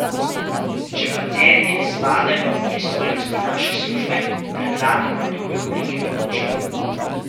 Če pacienti ne spadajo v pristojnosti naše službe, predlagamo druge oblike pomoči.